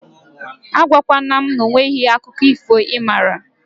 A gwa kwana m na onweghi akụkọ ifo ị mara